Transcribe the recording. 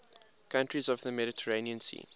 countries of the mediterranean sea